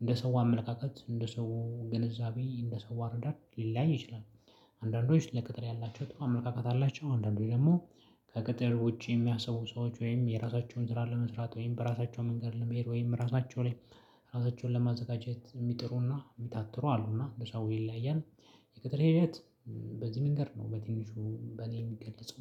እንደ ሰው አመለካከት እንደ ሰው ግንዛቤ እንደ ሰው አረዳድ ሊለያይ ይችላል። አንዳንዶች ለቅጥር ያላቸው ጥሩ አመለካከት አላቸው። አንዳንዶች ደግሞ ከቅጥር ውጪ የሚያስቡ ሰዎች ወይም የራሳቸውን ዘራ ለመስራት ወይም በራሳቸው መንገድ ለመሄድ ወይም ራሳቸው ላይ ራሳቸውን ለማዘጋጀት የሚጥሩና የሚታትሩ አሉና እንደ ሰው ይለያል። የቅጥር ሂደት በዚህ መንገድ ነው በትንሹ በኔ የሚገለጸው